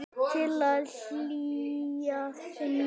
Til að hlýja mér.